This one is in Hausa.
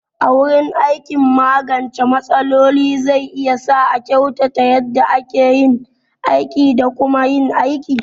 A wurin aiki, magance matsaloli zai iya sa a kyautata yadda ake yin aiki da kuma yin aiki.